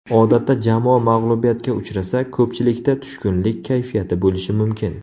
Odatda, jamoa mag‘lubiyatga uchrasa, ko‘pchilikda tushkunlik kayfiyati bo‘lishi mumkin.